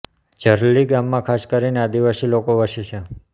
ઝરલી ગામમાં ખાસ કરીને આદિવાસી લોકો વસે છે